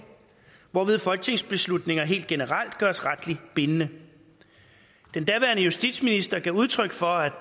hvorved folketingsbeslutninger helt generelt gøres retligt bindende den daværende justitsminister gav udtryk for at